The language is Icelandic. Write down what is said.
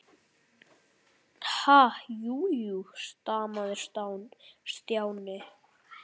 Ha- jú, jú stamaði Stjáni.